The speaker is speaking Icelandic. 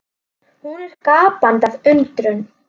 Hún er gapandi af undrun.